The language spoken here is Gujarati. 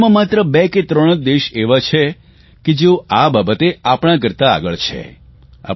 વિશ્વમાં માત્ર બે કે ત્રણ દેશ એવા છે કે જેઓ આ બાબતે આપણાં કરતા આગળ છે